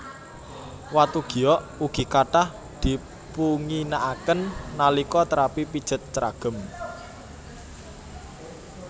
Watu giok ugi kathah dipunginakaken nalika terapi pijet ceragem